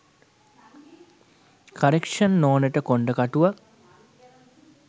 Correction නෝනට කොන්ඩ කටුවක්.